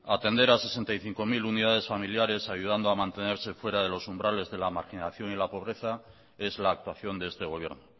atender a sesenta y cinco mil unidades familiares ayudando a mantenerse fuera de los umbrales de la marginación y la pobreza es la actuación de este gobierno